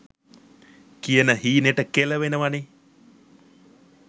කියන හීනෙට කෙලවෙනවනෙ.